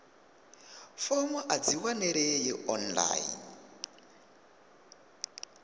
fomo a dzi wanalei online